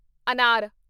ਅਨਾਰ